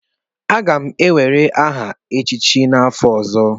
Aga m ewere aha echịchị n'afọ ọzọ.